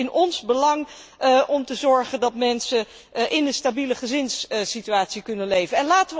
Het is dus in ons belang om te zorgen dat mensen in een stabiele gezinssituatie kunnen leven.